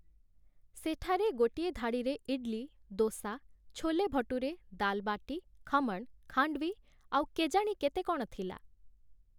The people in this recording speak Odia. ସେଠାରେ ଗୋଟିଏ ଧାଡ଼ିରେ ଇଡ୍‌ଲି, ଦୋସା, ଛୋଲେ ଭଟୁରେ, ଦାଲ୍ ବାଟି, ଖମଣ୍, ଖାଣ୍ଡୱି, ଆଉ କେଜାଣି କେତେ କ'ଣ ଥିଲା!